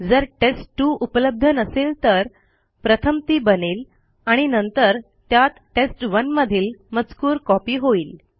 जर टेस्ट2 उपलब्ध नसेल तर प्रथम ती बनेल आणि नंतर त्यात टेस्ट1 मधील मजकूर कॉपी होईल